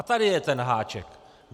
A tady je ten háček!